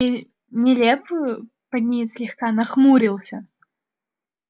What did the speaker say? нелепую пониетс слегка нахмурился